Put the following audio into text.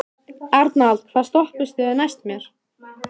Arnald, hvaða stoppistöð er næst mér?